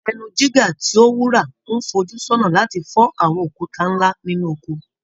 Ẹnu jígà tí ó wúra ńfojú sọ́nà láti fọ́ àwọn òkúta nla nínú oko.